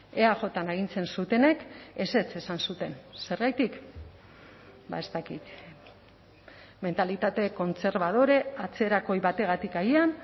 eajn agintzen zutenek ezetz esan zuten zergatik ez dakit mentalitate kontserbadore atzerakoi bategatik agian